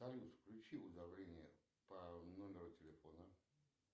салют включи уведомления по номеру телефона